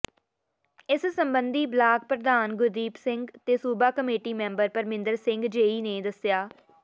ਇਸ ਸਬੰਧੀ ਬਲਾਕ ਪ੍ਰਧਾਨ ਗੁਰਦੀਪ ਸਿੰਘ ਤੇ ਸੂਬਾ committee member Parminder Singh JE ਨੇ ਦੱਸਿਆ